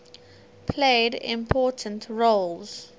played important roles